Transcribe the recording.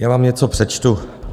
Já vám něco přečtu.